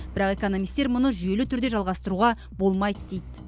бірақ экономистер мұны жүйелі түрде жалғастыруға болмайды дейді